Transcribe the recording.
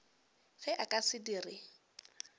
ge a ka se dire